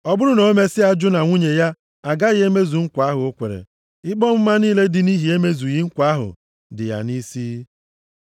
Ọ bụrụ na o mesịa jụ na nwunye ya agaghị emezu nkwa ahụ ọ kwere, ikpe ọmụma niile dị nʼihi emezughị nkwa ahụ dị ya nʼisi.”